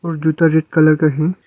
और जूता red colour का है।